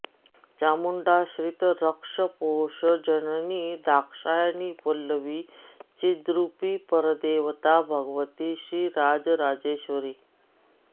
चामुण्डा श्रितरक्षपोषजननी दाक्षायणी वल्लवी चिद्रूपी परदेवता भगवती श्रीराजराजेश्वरी